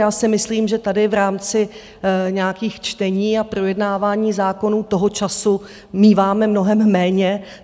Já si myslím, že tady v rámci nějakých čtení a projednávání zákonů toho času míváme mnohem méně.